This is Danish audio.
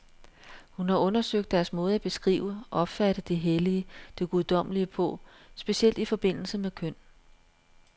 Hun har undersøgt deres måde at beskrive, opfatte det hellige, det guddommelige på, specielt i forbindelse med køn.